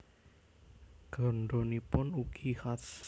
Gandhanipun ugi khas